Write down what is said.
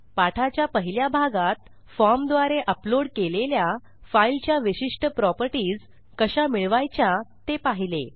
पाठाच्या पहिल्या भागात फॉर्मद्वारे अपलोड केलेल्या फाईलच्या विशिष्ट प्रॉपर्टीज कशा मिळवायच्या ते पाहिले